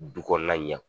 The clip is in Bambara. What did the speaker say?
Du kɔnɔna ɲɛ